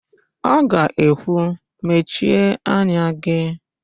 Ọ ga-ekwu, "mechie anya gị"!